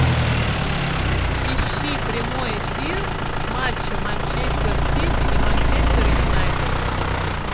ищи прямой эфир матча манчестер сити и манчестер юнайтед